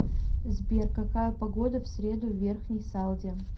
сбер какая погода в среду в верхней салде